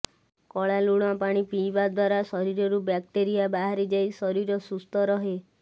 କଳା ଲୁଣ ପାଣି ପିଇବା ଦ୍ବାରା ଶରୀରରୁ ବ୍ୟାକ୍ଟେରିଆ ବାହାରିଯାଇ ଶରୀର ସୁସ୍ଥ ରହେ